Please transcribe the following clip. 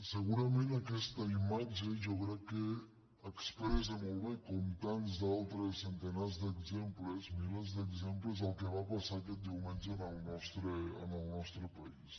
segurament aquesta imatge jo crec que expressa molt bé com tants altres centenars d’exemples mi·lers d’exemples el que va passar aquest diumenge en el nostre país